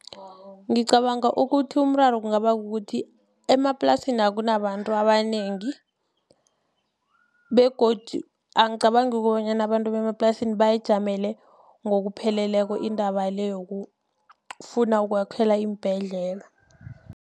Ngicabanga ukuthi umraro kungaba kukuthi emaplasini akunabantu abanengi begodu angicabangi kukobanyana abantu bemaplasini bayijamele ngokupheleleko indaba le yokufuna ukwakhelwa iimbhedlela.